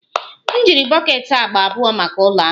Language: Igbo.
M jiri bọket agba abụọ maka ụlọ ahụ.